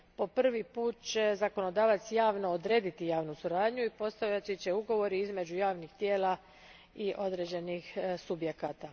Po prvi put će zakonodavac javno odrediti javnu suradnju i postavljat će ugovor između javnih tijela i određenih subjekata.